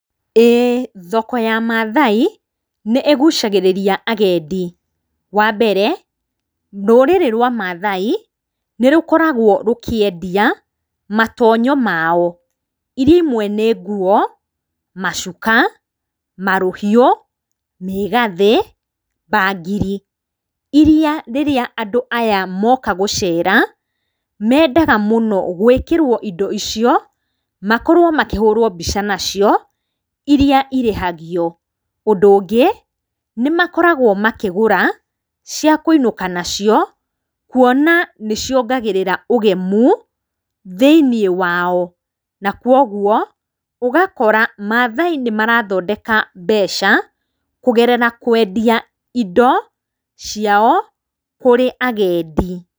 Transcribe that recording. Ĩĩ thoko ya Mathai nĩĩgucagĩrĩria agendi. Wa mbere, rũrĩrĩ rwa Mathai, nĩrũkoragwo rũkĩendia matonyo maao, iria imwe nĩ nguo, macuka, marũhiũ, mĩgathĩ, mbangiri, iria rĩrĩa andũaya moka gũcera, mendaga mũno gwĩkĩra indo icio, makorwo makĩhũrwo mbica nacio, irĩa irĩhagio. Ũndũ ũngĩ, nĩmakoragwo makĩgũra cia kũinũka nacio, kuona nĩciongagĩrĩra ũgemu thĩiniĩ wao, na koguo ũgakora matyai nĩmarathodeka mbeca kũgerera kwendia indo ciao kũrĩ agendi.